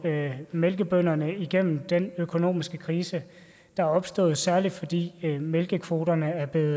mælkebønderne igennem den økonomiske krise der er opstået særlig fordi mælkekvoterne er blevet